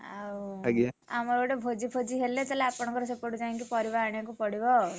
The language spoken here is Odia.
ଆଉ ଆମର ଗୋଟେ ଭୋଜି ଫୋଜି ହେଲେ ତାହେଲେ ଆପଣଙ୍କ ସେପଟୁ ଯାଇ ପରିବା ପତ୍ର ଆଣିବାକୁ ପଡିବ ଆଉ।